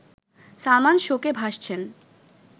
সালমান শোকে ভাসছেন